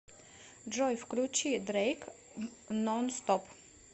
джой включи дрейк нонстоп